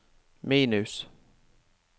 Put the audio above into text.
minus